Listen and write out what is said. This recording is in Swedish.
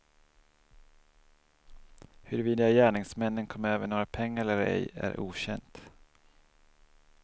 Huruvida gärningsmännen kom över några pengar eller ej är okänt.